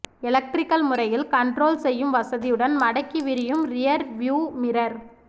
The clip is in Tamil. எலக்ட்ரிக்கல் முறையில் கன்ட்ரோல் செய்யும் வசதியுடன் மடக்கி விரியும் ரியர் வியூ மிரர்